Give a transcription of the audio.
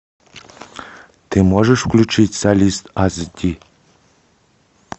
ты можешь включить солист ас ди